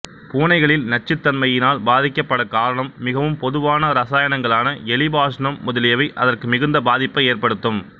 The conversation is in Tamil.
பூனைகளில் நச்சுத்தன்மையினால் பாதிக்கபடக் காரணம் மிகவும் பொதுவான இரசாயனங்களான எலி பாஷானம் முதலியவை அதற்கு மிகுந்த பாதிப்பை ஏற்படுத்தும்